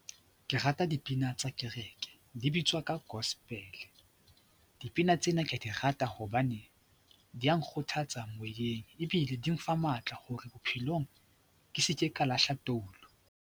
Ke rata dipina tsa kereke, di bitswa ka Gospel. Dipina tsena ka di rata hobane di ya nkgothatsa moyeng ebile di nfa matla hore bophelong ke seke ka lahla toulu.